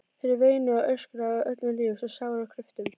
Þær veinuðu og öskruðu af öllum lífs og sálar kröftum.